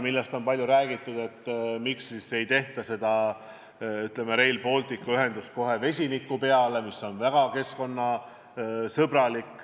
Siin on palju räägitud ka sellest, et miks ei tehta Rail Balticu ühendust kohe vesiniku põhjal, mis on väga keskkonnasõbralik.